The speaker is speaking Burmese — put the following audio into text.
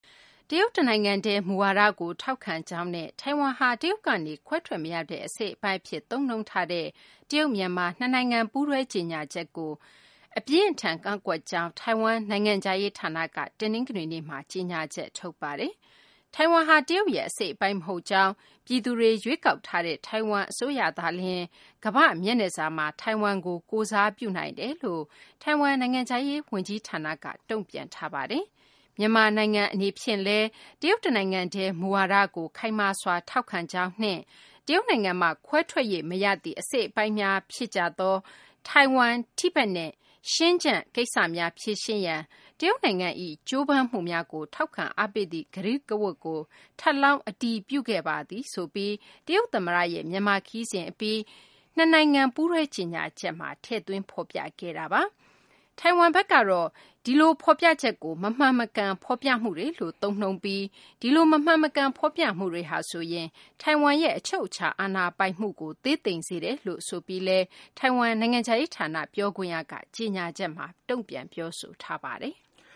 တရုတ်တနိုင်ငံတည်း မူဝါဒကို ထောက်ခံကြောင်းနဲ့ ထိုင်ဝမ်ဟာ တရုတ်ကနေ ခွဲထွက်မရတဲ့ အစိတ်အပိုင်းအဖြစ် သုံးနှုန်းထားတဲ့ တရုတ် - မြန်မာ နှစ်နိုင်ငံ ပူးတွဲ ကြေညာချက်ကို အပြင်းအထန် ကန့်ကွက်ကြောင်း ထိုင်ဝမ် နိုင်ငံခြားရေးဌာနက တနင်္ဂနွေနေ့မှာ ကြေညာချက် ထုတ်ပါတယ်။ ထိုင်ဝမ်ဟာ တရုတ်ရဲ့အစိတ်အပိုင်း မဟုတ်ကြောင်း၊ ပြည်သူတွေ ရွေးကောက်ထားတဲ့ ထိုင်ဝမ်အစိုးရသာလျှင် ကမ္ဘာ့မျက်နှာစာမှာ ထိုင်ဝမ်ကို ကိုယ်စားပြုနိုင်ကြောင်းလည်း ထိုင်ဝမ် နိုင်ငံခြားရေး ဝန်ကြီးဌာနက တုံ့ပြန်ထားပါတယ်။ “မြန်မာနိုင်ငံအနေဖြင့်လည်း တရုတ်တနိုင်ငံတည်း မူဝါဒကို ခိုင်မာစွာ ထောက်ခံကြောင်းနှင့် တရုတ်နိုင်ငံမှ ခွဲထွက်၍မရသည့် အစိတ်အပိုင်းများ ဖြစ်ကြသော ထိုင်ဝမ်၊ တိဘက်နှင့် ရှန်ကျန်းကိစ္စများ ဖြေရှင်းရန် တရုတ်နိုင်ငံ၏ ကြိုးပမ်းမှုများကို ထောက်ခံအားပေးသည့် ကတိကဝတ်ကို ထပ်လောင်း အတည်ပြုခဲ့ပါသည်” ဆိုပြီး တရုတ်သမ္မတရဲ့ မြန်မာခရီးစဉ်အပြီး နှစ်နိုင်ငံ ပူးတွဲ ကြေညာချက်မှာ ထည့်သွင်း ဖော်ပြခဲ့တာပါ။ ဒီလို မမှန်မကန် ဖော်ပြမှုတွေဟာဆိုရင် ထိုင်ဝမ်ရဲ့ အချုပ်အခြာ အာဏာပိုင်မှုကို သေးသိမ်စေတယ်လို့ ဆိုပြီးလည်း ထိုင်ဝမ် နိုင်ငံခြားရေးဌာန ပြောခွင့်ရ Joanne Ou က ကြေညာချက်မှာ ပြောဆိုထားပါတယ်။